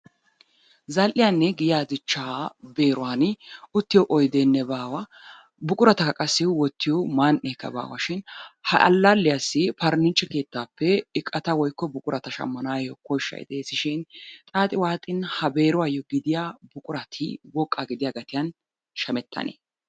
Zal'iyanne giyaa dichchaa beeruwan uttiyo oyideenne baawa buqurata qassi wottiyo man'eekka baashin ha allalliyassi periniichchere keettaappe iqata woyikko buqurata shammanawu koshshay de'eesishin xaaxi waaxin ha beeruwayyoo gidiya buqurati woqqaa gidiya gatiyan shamettanee?